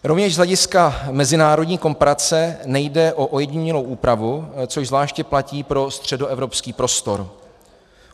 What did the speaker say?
Rovněž z hlediska mezinárodní komparace nejde o ojedinělou úpravu, což zvláště platí pro středoevropský prostor.